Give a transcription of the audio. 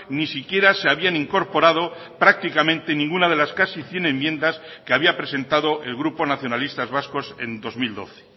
ni siquiera se habían incorporado prácticamente ninguna de las casi cien enmiendas que había presentado el grupo nacionalistas vascos en dos mil doce